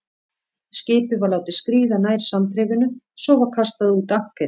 Skipið var látið skríða nær sandrifinu, svo var kastað út ankeri.